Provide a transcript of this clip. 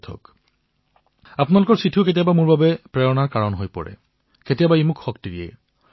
এক প্ৰকাৰে আপোনালোকৰ চিঠিও মোৰ বাবে কেতিয়াবা প্ৰেৰণাৰ কাৰক হৈ পৰে শক্তিৰ কাৰণ হৈ পৰে